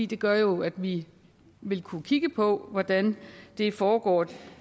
det gør jo at vi vil kunne kigge på hvordan det foregår